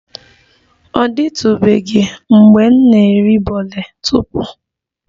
Ọ dịtụbeghị mgbe m na-eri bole tupu